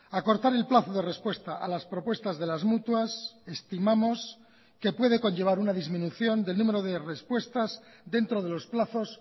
acortar el plazo de respuesta a las propuestas de las mutuas estimamos que puede conllevar una disminución del número de respuestas dentro de los plazos